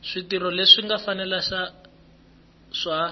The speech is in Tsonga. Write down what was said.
switirho leswi nga fanela swa